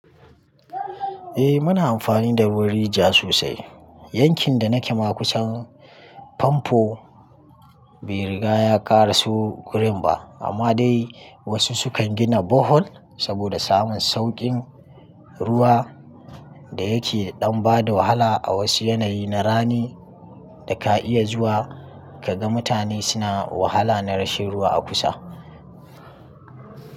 Eh muna amfani da ruwan rijiya sosai. Yankin da nake ma kusan famfo bai riga ya ƙara so gurin ba amma dai wasu sukan gina bohol saboda samun sauƙin ruwa da yake ɗan bada wahala a wasu yanayi na rani da ka iya zuwa kaga mutane suna wahala na rashin ruwa a kusa.